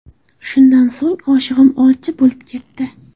Shundan so‘ng, oshig‘im olchi bo‘lib ketdi.